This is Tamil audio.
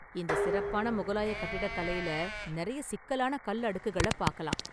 இந்த சிறப்பான முகலாய கட்டிடக்கலையில நிறைய சிக்கலான கல் அடுக்குகளை பார்க்கலாம்.